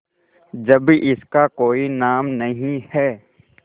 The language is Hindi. जब इसका कोई नाम नहीं है